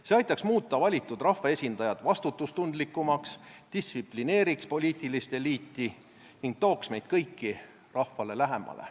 See aitaks muuta valitud rahvaesindajad vastutustundlikumaks, distsiplineeriks poliitilist eliiti ning tooks meid kõiki rahvale lähemale.